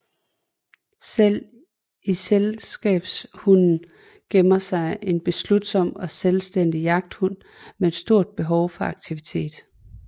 Selv i selskabshunden gemmer sig en beslutsom og selvstændig jagthund med et stort behov for aktivitet